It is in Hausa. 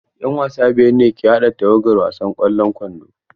'Yan wasa biyar ne ke haɗa tawagar wasan ƙwallon kwando.